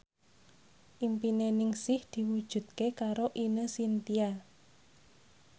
impine Ningsih diwujudke karo Ine Shintya